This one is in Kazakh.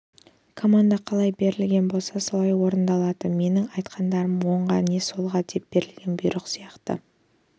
команда қалай берілген болса солай орындалады да менің айтқандарымды оңға не солға деп берілген бұйрық сияқты